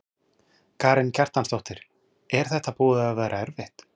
Karen Kjartansdóttir: Er þetta búið að vera erfitt?